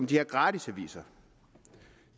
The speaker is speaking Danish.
de her gratisaviser